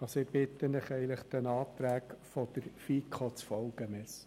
Ich bitte Sie, den Anträgen der FiKo zu folgen.